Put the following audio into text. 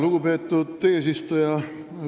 Lugupeetud eesistuja!